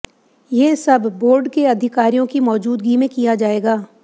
ये सब बोर्ड के अधिकारियों की मौजूदगी में किया जाएगा